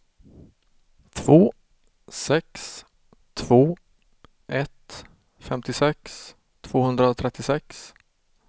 två sex två ett femtiosex tvåhundratrettiosex